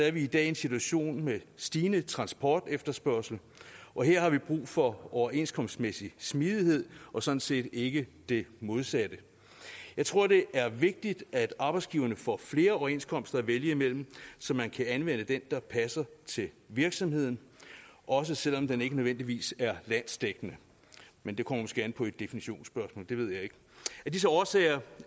er vi i dag i en situation med stigende transportefterspørgsel og her har vi brug for overenskomstmæssig smidighed og sådan set ikke det modsatte jeg tror det er vigtigt at arbejdsgiverne får flere overenskomster at vælge mellem så man kan vælge den der passer til virksomheden også selv om den ikke nødvendigvis er landsdækkende men det kommer måske an på et definitionsspørgsmål det ved jeg ikke af disse årsager